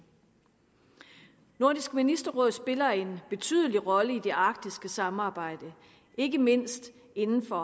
nordisk ministerråd spiller en betydelig rolle i det arktiske samarbejde ikke mindst inden for